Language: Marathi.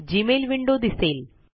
जीमेल विंडो दिसेल